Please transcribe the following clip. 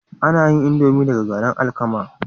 Ana yin indomie daga garin alkama